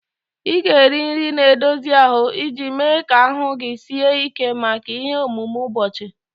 Ị ga-eri nri na-edozi ahụ iji mee ka ahụ gị sie ike maka ihe omume ụbọchị